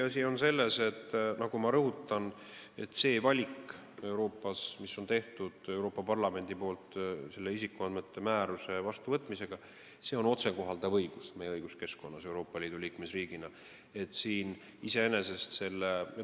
Aga tõsiasi on, ma rõhutan, et see valik, mille on teinud Euroopa Parlament isikuandmete kaitse määruse vastuvõtmisega, on meie õiguskeskkonnas meie kui Euroopa Liidu liikmesriigi jaoks otsekohalduv õigus.